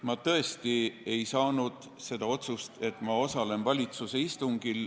Ma tõesti ei saanud muuta seda otsust, et ma osalen valitsuse istungil.